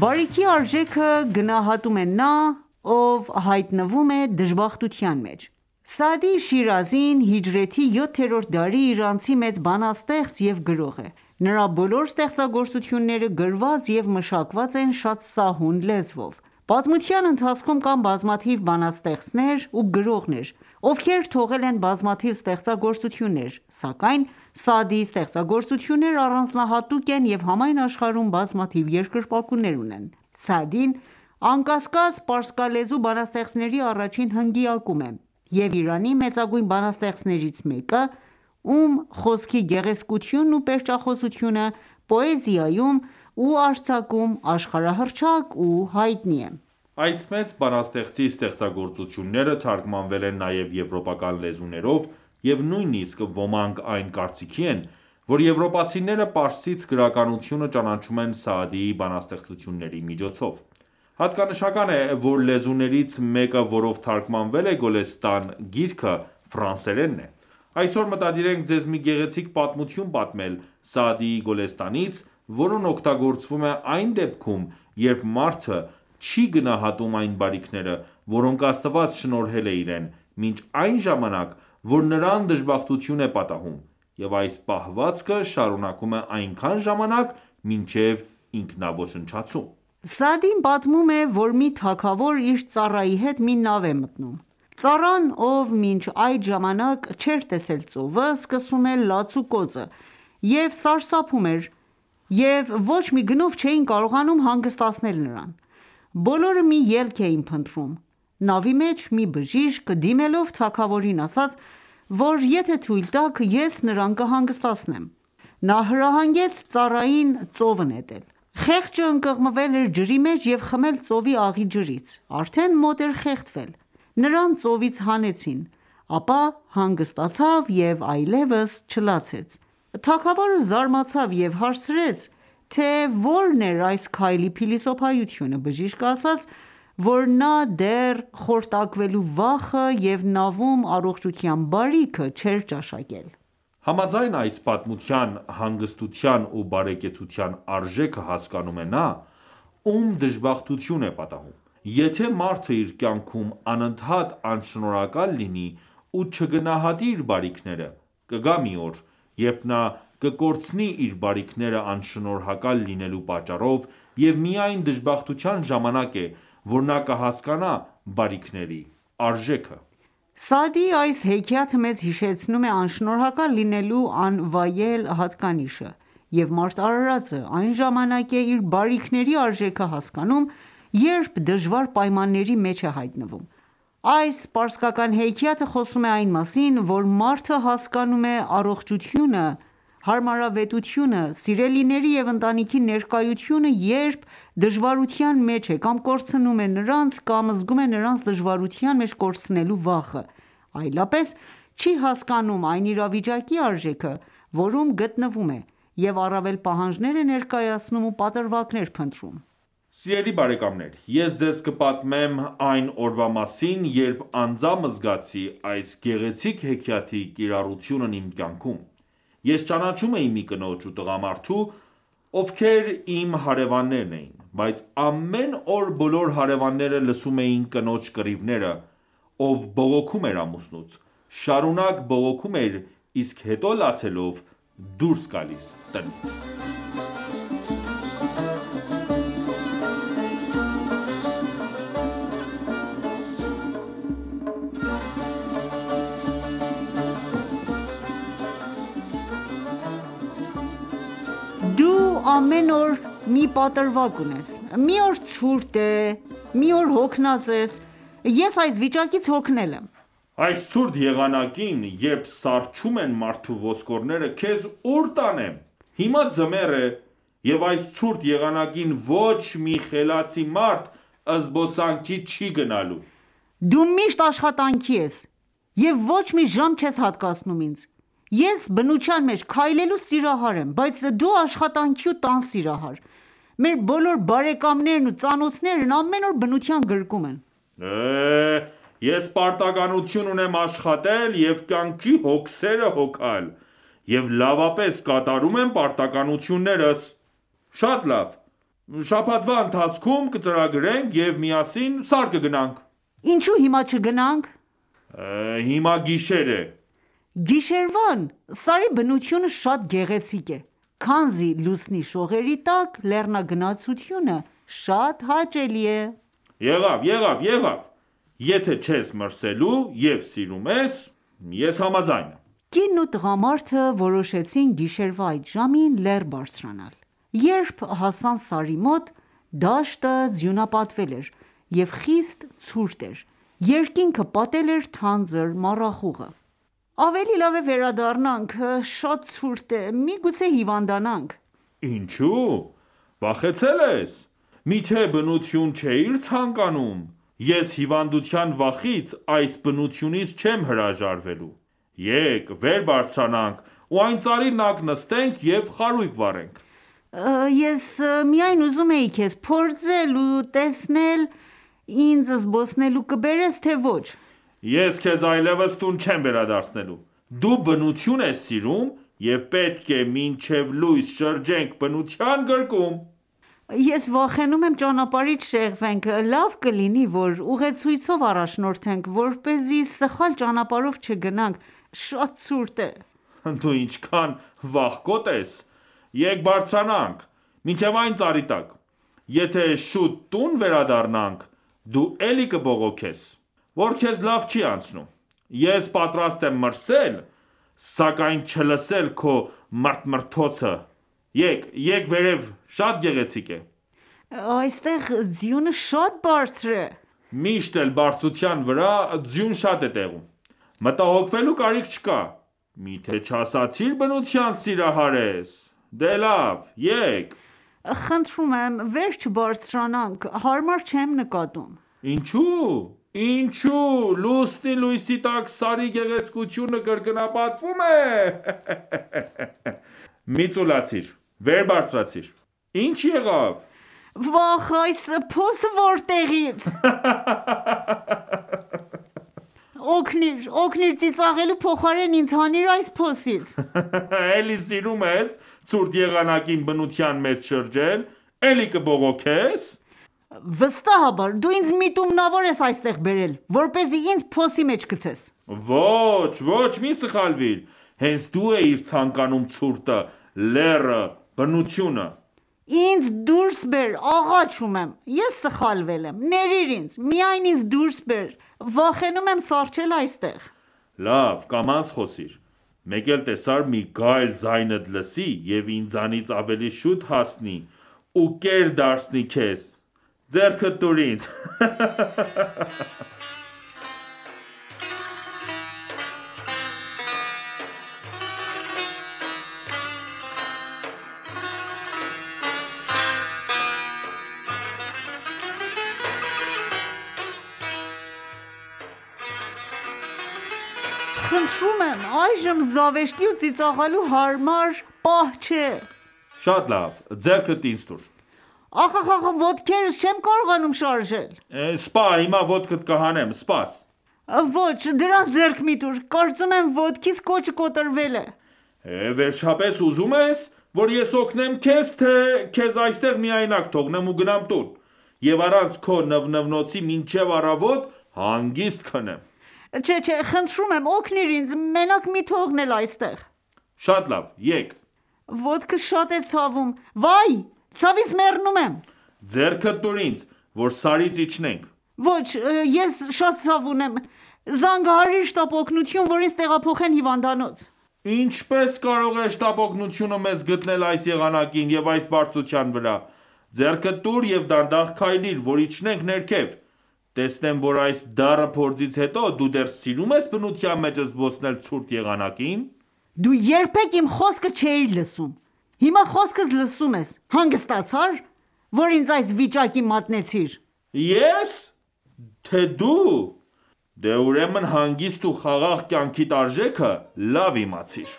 Բարիքի արժեքը գնահատում է նա, ով հայտնվում է դժբախտության մեջ։ Սաադի Շիրազին հիջրեթի յոթերորդ դարի իրանցի մեծ բանաստեղծ և գրող է:Նրա բոլոր ստեղծագործությունները գրված և մշակված են շատ սահուն լեզվով։ Պատմության ընթացքում կան բազմաթիվ բանաստեղծներ և գրողներ, ովքեր թողել են բազմաթիվ ստեղծագործություններ, սակայն ՝ Սաադիի ստեղծագործությունները առանձնահատուկ են և համայն աշխարհում բազմաթիվ երկրպագուներ ունեն:Սաադին, անկասկած, պարսկալեզու բանաստեղծների առաջին հնգյակում է և Իրանի մեծագույն բանաստեղծներից մեկը, ում խոսքի գեղեցկությունն ու պերճախոսությունը պոեզիայում ու արձակում աշխարհահռչակ ու հայտնի է։ Այս մեծ բանաստեղծի ստեղծագործությունները թարգմանվել են նաև եվրոպական լեզուներով և նույն իսկ ոմանք այն կարծիքի են, որ եվրոպացիները պարսից գրականությունը ճանաչում են Սաադիի բանաստեղծությունների միջոցով: Հատկանշական է, որ լեզուներից մեկը, որով թարգմանվել է «Գոլեստան» գիրքը, ֆրանսերենն է:Այսօր մտադիր ենք ձեզ մի գեղեցիկ պատմություն պատմել ՝Սաադիի «Գոլեստան»-ից, որն օգտագործվում է այն դեպքում, երբ մարդը չի գնահատում այն բարիքները, որոնք Աստված շնորհել է իրեն, մինչ այն ժամանակ, որ նրան դժբախտություն է պատահում, և այս պահվածքը շարունակում է այնքան ժամանակ ,մինչև ինքնաոչնչացում: Սաադին պատմում է ,որ մի թագավոր իր ծառայի հետ մի նավ է մտնում, ծառան ,ով մինչ այդ ժամանակ չեր տեսել ծովը ,սկսում է լաց ու կոծը և սարսափում էր և ոչ մի գնով չեին կարողանում հանգստացնել նրան:Բոլորը մի ելք էին փնտրում, նավի մեջ մի բժիշկ ,դիմելով թագավորին ասաց ,որ եթե թույլ տաք ,ես նրան կհանգստացնեմ: Նա հրահանգեց ծառային ծովը նետել:Խեղճը ընկղմվել էր ջրի մեջ և խմել ծովի աղի ջրից:Արդեն մոտ էր խեղդվել ,նրան ծովից հանեցին ,ապա հանգստացվ և այլևս չլացեց: Թագավորը զարմացավ և հարցրեց ,թե՝ ո՞րն էր այս քայլի փիլիսոփայությունը :Բժիշկը ասաց ,որ նա դեռ խորտակվելու վախը և նավում առողջության բարիքը չեր ճաշակել: Համաձայն այս պատմության հանգստության ու բարեկեցության արժեքը հասկանում է նա ,ում դժբախտություն է պատահում: Եթե ​​մարդը իր կյանքում անընդհատ անշնորհակալ լինի ու չգնահատի իր բարիքները ,կգա մի օր, երբ նա կկորցնի իր բարիքները անշնորհակալ լինելու պատճառով և միայն դժբախտության ժամանակ է ,որ նա կհասկանա բարիքների արժեքը: Սաադիի այս հեքիաթը մեզ հիշեցնում է անշնորհակալ լինելու անվայել հատկանիշը, և մարդ արարածը այն ժամանակ է իր բարիքների արժեքը հասկանում ,երբ դժվար պայմանների մեջ է հայտնվում: Այս պարսկական հեքիաթը խոսում է այն մասին, որ մարդը հասկանում է առողջությունը, հարմարավետությունը, սիրելիների և ընտանիքի ներկայությունը, երբ դժվարության մեջ է, կամ կորցնում է նրանց, կամ զգում է նրանց դժվարության մեջ կորցնելու վախը, այլապես չի հասկանում այն իրավիճակի արժեքը, որում գտնվում է,եւ առավել պահանջներ է ներկայացնում ու պատրվակներ փնտրում: Սիրելի բարեկամներ ես ձեզ կպատմեմ այն ​​օրվա մասին, երբ անձամբ զգացի այս գեղեցիկ հեքիաթի կիրառությունն իմ կյանքում։ Ես ճանաչում էի մի կնոջ ու տղամարդու ,ովքեր իմ հարևաններն էին, բայց ամեն օր բոլոր հարևանները լսում էին կնոջ կռիվները, ով բողոքում էր ամուսնուց։ Շարունակ բողոքում էր, իսկ հետո լացելով դուրս գալիս տնից: Դու ամեն օր մի պատրվակ ունես, մի օր ցուրտ է ,մի օր հոգնած ես, ես այս վիճակից հոգնել եմ: Այս ցուրտ եղանակին ,երբ սառչում ենմարդու ոսկորները ,քեզ ո՞ւր տանեմ :Հիմա ձմեռ է և այս ցուրտ եղանակին ոչ մի խելացի մարդ զբոսանքի չի գնալու: Դու միշտ աշխատանքի ես ,և ոչ մի ժամ չես հատկացնում ինձ ,ես բնութեան մեջ քայլելու սիրահար եմ ,բայց դու աշխատանքի ու տան սիրահար:Մեր բոլոր բարեկամներն ու ծանոթներն ամեն օր բնության գրկում են: Ես պարտականություն ունեմ աշխատել և կյանքի հոգսերը հոգալ և լավապես կատրում եմ պարտականություններս:Շատ լավ շաբաթվա ընթացքում կծրագրենք և միասին սար կգնանք: ինչո՞ւ հիմա չգնանք: հիմա գիշեր է: Գիշերվան, սարի բնությունը շատ գեղեցիկ է ,քանզի լուսնի շողերի տակ լեռնագնացությունը շատ հաճելի է: Եղավ, եթե չես մրսելու և սիրում ես ,ես համաձայն եմ: Կինն ու տղամարդը որոշեցին գիշերվա այդ ժամին լեռ բարձրանալ: Երբ հասան սարի մոտ ,դաշտը ձյունապատվել էր և խիստ ցուրտ էր :Երկինքը պատել էր թանձր մառախուղը: Ավելի լավ է վերադառնանք ,շատ ցուրտ է ,միգուցե հիվանդանանք: Ինչո՞ւ ,վախեցել ես, միթե բնություն չէիր ցանկանում ,ես հիվանդության վախից ,այս բնությունից չեմ հրաժարվելու ,եկ վեր բարձրանանք ու այն ծառի տակ նստենք և խարույկ վառենք: Ես միայն ուզում էի քեզ փորձել ու տեսնել ինձ զբոսնելու կբերես թե ոչ: ես քեզ այլևս տուն չեմ վերադարձնելու ,դու բնություն ես սիրում և պետք է մինչև լույս շրջենք բնության գրկում: Ես վախենում եմ ճանապարհից շեղվենք, լավ կլինի ,որ ուղեցույցով առաջնորդվենք ,որպեսզի սխալ ճանապարհով չգնանք ,շատ ցուրտ է: Դու ինչքան վախկոտ ես ,եկ բարձրանանք ,մինչև այն ծառի տակ ,եթե շուտ տուն վերդառնանք ,դու էլի կբողոքես ,որ քեզ լավ չի անցնում :Ես պատրաստ եմ մրսել ,սակայն չլսել քո մրթմրթոցը, եկ վերև շատ գեղեցիկ է: Այնտեղ ձյունը շատ բարձր է: Միշտ էլ բարձրության վրա ձյուն շատ է տեղում ,մտահոգվելու կարիք չկա:Միթե չասացիր բնության սիրահար ես :Դե լավ ,եկ: Վեր չբարձրանանք. Հարմար չեմ նկատում: Ինչո՞ւ,Լուսնի լույսի տակ սարի գեղեցկությունը կրկնապատկվում է ,մի ծուլացիր վեր բարձրացիր: Ի՞նչ եղավ: վաախ, այս փոսը, որտեղի՞ց: Օգնիր, օգնիր, ծիծաղելու փոխարեն ինձ հանիր այս փոսից: Էլի սիրում ես ցուրտ եղանակին բնության մեջ շրջել, էլի կբողոքե՞ս։ վստահաբար դու ինձ միտումնավոր են այստեղ բերել ,որպեսզի ինձ փոսի մեջ գցես: Ոչ, մի սխալվիր ,հենց դու էիր ցանկանում ցուրտը, լեռը եւ բնությունը: Ինձ դուրս բեր, աղաչում եմ ,ես սխալվել եմ ,ներիր ինձ ,միայն ինձ դուրս բեր ,վախենում եմ սառչել այստեղ: Լավ ,կամաց խոսիր, մեկ էլ տեսար մի գայլ ձայնդ լսի և ինձանից ավելի շուտ հասնի ու կեր դարձնի քեզ ,ձեռքդ ինձ տուր: Այժմ զավեշտի ու ծիծաղելու համար հարմար պահ չէ: Շատ լավ ձեռքերդ ինձ տուր: Ախ ,ոտքերս չեմ կարողանում շարժել Հիմա ոտքդ կհանեմ: Ոչ ,դրանց ձեռք մի տուր:Կարծում եմ՝ ոտքիս կոճը կոտրվել է: Վերջապես ուզում ես, որ ես օգնեմ քեզ, թե՞ քեզ այստեղ միայնակ թողնեմ, ու գնամ տուն և առանց քո նվնվոցի մինչև առավոտ հանգիստ քնեմ։ Խնդրում եմ օգնիր ինձ և միայնակ չթողնես ինձ: Շատ լավ ,եկ: Ոտքս շատ է ցավում։ Վայ, ցավից մեռնում եմ։ Ձեռքդ տո՛ւր ինձ, որ սարից իջնենք: Ոչ, ես շատ ցավ ունեմ, զանգահարիր շտապօգնություն, որ ինձ տեղափոխեն հիվանդանոց: Ինչպե՞ս կարող է շտապօգնությունը մեզ գտնել այս եղանակին և այս բարձրության վրա, ձեռքդ տուր և դանդաղ քայլիր, որ իջնենք ներքև, տեսնեմ, որ այս դառը փորձից հետո դու դեռ սիրում ես բնության մեջ զբոսնել ցուրտ եղանակին: Դու երբեք իմ խոսքը չէիր լսում, հիմա խոսքս լսում ե՞ս:Հանգստացա՞ր, որ ինձ այս վիճակի մատնեցիր: եեե՞ս․․․․ Դե, ուրեմն հանգիստ ու խաղաղ կյանքիդ արժեքը լավ իմացիր: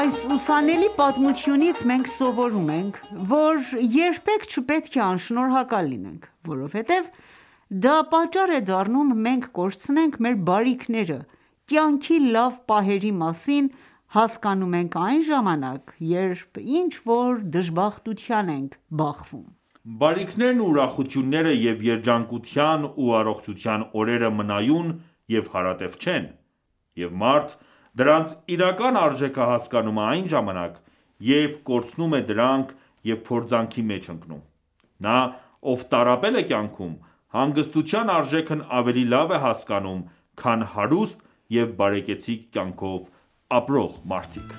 Այս ուսանելի պատմությունից մենք սովորում ենք, որ երբեք չպետք է անշնորհակալ լինենք, որովհետև դա պատճառ է դառնում մենք կորցնենք մեր բարիքները ,կյանքի լավ պահերի մասին հասկանում ենք այն ժամանակ ,երբ ինչ որ դժբախտության ենք բախվում: Բարիքներն ու ուրախությունները և երջանկության ու առողջության օրերը մնայուն ​​և հարատև չեն և մարդ, դրանց իրական արժեքը հասկանում է այն ժամանակ, երբ կորցնում է դրանք և փորձանքի մեջ ընկնում:Նա, ով տառապել է կյանքում, հանգստության արժեքն ավելի լավ է հասկանում քան հարուստ և բարեկեցիկ կյանքով ապրող մարդիկ: